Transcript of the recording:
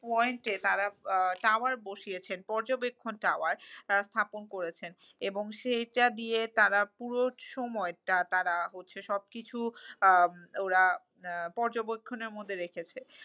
Point এ তারা আহ tower বসিয়েছেন পর্যবেক্ষণ tower তারা স্থাপন করেছেন। এবং সেইটা দিয়ে তারা পুরো সময় টা তারা হচ্ছে সবকিছু আহ ওরা পর্যবেক্ষণের মধ্যে রেখেছে।